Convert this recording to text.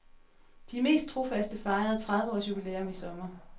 De mest trofaste fejrede tredive års jubilæum i sommer.